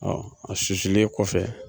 a susulen kɔfɛ